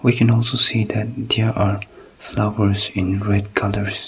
we can also see that there are flowers in red colours.